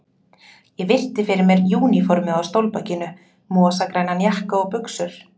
Ég virti fyrir mér úniformið á stólbakinu, mosagrænan jakka og buxur.